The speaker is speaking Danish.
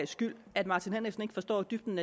skyld at martin henriksen ikke forstår dybden